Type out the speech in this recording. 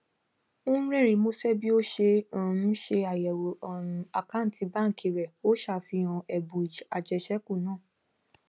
ó rẹrìnín musẹ bí o ṣe um ń ṣàyẹwò um àkáǹtì baanki rẹ ó ń ṣàfihàn ẹbùn ajeseku naa